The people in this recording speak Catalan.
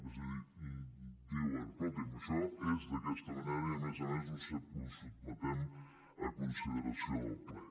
és a dir diuen escolti’m això és d’aquesta manera i a més a més ho sotmetem a consideració del ple